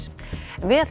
við